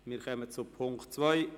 Wir kommen zu Punkt 2.